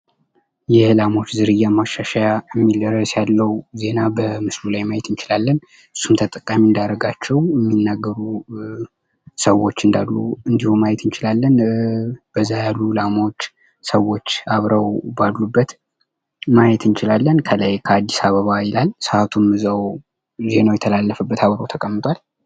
የላሞች ዝርያ ማሻሻያ የሚል ርዕስ ያለው ዜና ምስሉ ላይ ማየት እንችላለን። እሱን ቀጥታ የምናረጋቸው የሚናገሩ ሰዎች እንዳሉ እንድሁም ማየት እንችላለን። በዛ ያሉ ላሞች ሰዎች አብረው ባሉበት መየት እንችላለን ከላይ አድስ አበባ ይላል። ሰአቱ እዛው ዜናው የተላለፈበት አብሮ ተቀምጧል።